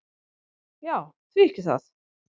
"""Já, því ekki það."""